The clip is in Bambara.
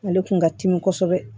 Ale kun ka timi kosɛbɛ